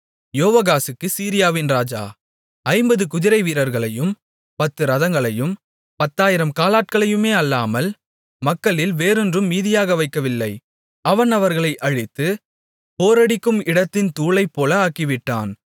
யோவாகாசுக்குச் சீரியாவின் ராஜா ஐம்பது குதிரைவீரர்களையும் பத்து இரதங்களையும் பத்தாயிரம் காலாட்களையுமே அல்லாமல் மக்களில் வேறொன்றும் மீதியாக வைக்கவில்லை அவன் அவர்களை அழித்து போரடிக்கும்இடத்தின் தூளைப்போல ஆக்கிவிட்டான்